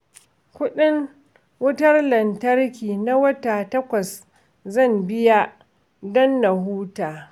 Kuɗin wutar lantarki na wata takwas zan biya don na huta